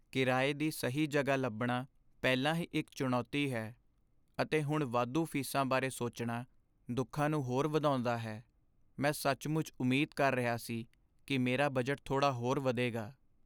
ਕਿਰਾਏ ਦੀ ਸਹੀ ਜਗ੍ਹਾ ਲੱਭਣਾ ਪਹਿਲਾਂ ਹੀ ਇੱਕ ਚੁਣੌਤੀ ਹੈ, ਅਤੇ ਹੁਣ ਵਾਧੂ ਫੀਸਾਂ ਬਾਰੇ ਸੋਚਣਾ ਦੁੱਖਾਂ ਨੂੰ ਹੋਰ ਵਧਾਉਂਦਾ ਹੈ। ਮੈਂ ਸੱਚਮੁੱਚ ਉਮੀਦ ਕਰ ਰਿਹਾ ਸੀ ਕਿ ਮੇਰਾ ਬਜਟ ਥੋੜਾ ਹੋਰ ਵਧੇਗਾ।